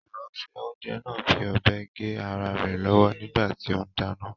Ìránṣẹ́-oúnjẹ náà fi ọ̀bẹ gé ara rẹ̀ lọ́wọ́ nígbà tí ó ń dáná.